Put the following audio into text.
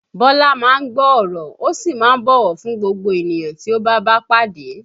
Bọ́lá má ń gbọ́ ọ̀rọ̀, ó sì má ń bọ̀wọ̀ fún gbogbo ènìyàn tí ó bá bá pàdé